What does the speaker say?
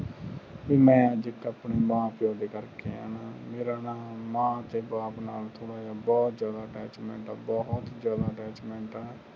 ਮੈਂ ਅੱਜ ਇਕ ਆਪਣੇ ਮਾਂ ਪਿਓ ਦੇ ਕਰਕੇ ਆਇਆ ਮੇਰਾ ਨਾ ਮਾਂ ਤੇ ਬਾਪ ਨਾਲ ਥੋੜਾ ਜਾ ਬਹੋਤ ਜਾਦਾ attachment ਹੈ ਬਹੁਤ ਜਾਦਾ attachment ਆ